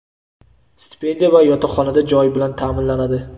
stipendiya va yotoqxonada joy bilan taʼminlanadi.